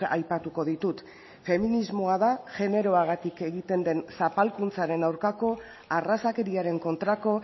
aipatuko ditut feminismoa da generoagatik egiten den zapalkuntzaren aurkako arrazakeriaren kontrako